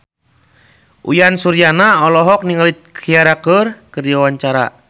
Uyan Suryana olohok ningali Ciara keur diwawancara